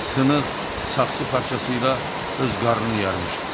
Sınıq saxsı parçasıyla öz qarnını yarmışdı.